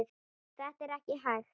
Þetta er ekki hægt.